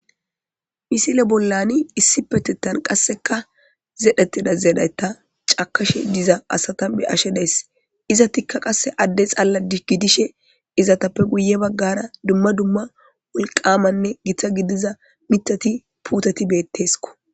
Misile bollan issipetan qaseka zeretida zereta cakishe diza asata be'ashe daysi izetika qase ade xala gidishe izetape guye bagara dumma dumma wolqamanne gita gidiza mitati puteti beteskko